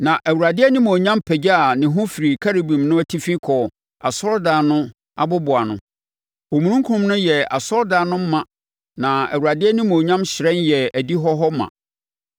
Na Awurade animuonyam pagyaa ne ho firii Kerubim no atifi kɔɔ asɔredan no aboboano. Omununkum no yɛɛ asɔredan no ma na Awurade animuonyam hyerɛn yɛɛ adihɔ hɔ ma.